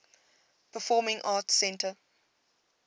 performing arts center